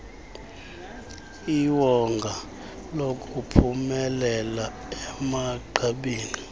iwonga lokuphumelela emagqabini